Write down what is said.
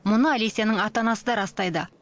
мұны алесяның ата анасы да растайды